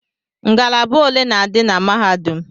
Ngalaba ole na-adị na mahadum?